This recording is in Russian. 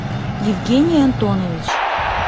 евгений антонович